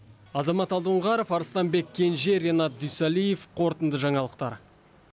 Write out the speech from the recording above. азамат алдоңғаров арыстанбек кенже ринат дүйсалиев қорытынды жаңалықтар